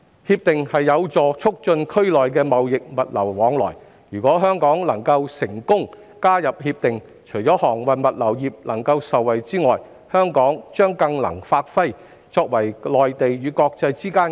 《協定》有助促進區內的貿易物流往來，如果香港能夠成功加入《協定》，除了航運物流業能夠受惠外，香港將更能發揮作為內地與國際之間的"中介人"角色。